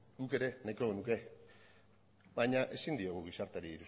guk ere nahiko genuke baina ezin diogu gizarteari iruzur